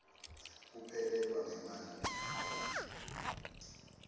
kuphelelwa ngemandla kamatima